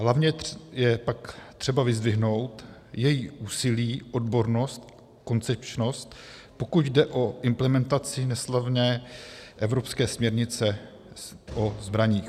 Hlavně je pak třeba vyzdvihnout její úsilí, odbornost, koncepčnost, pokud jde o implementaci neslavné evropské směrnice o zbraních.